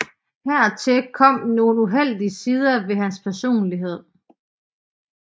Hertil kom nogle uheldige sider ved hans personlighed